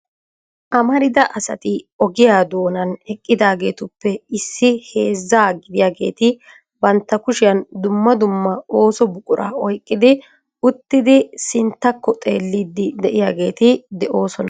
Amarida asati ogiyaa doonan eqqidageetuppe issi heezzaa gidiyaageeti bantta kushiyaan dumma dumma ooso buqura oyqqi uttiidi sinttakko xeellidi de'iyaageeti de'oosona.